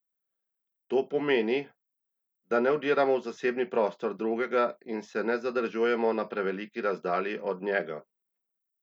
To pomeni, da ne vdiramo v zasebni prostor drugega in se ne zadržujemo na preveliki razdalji od njega!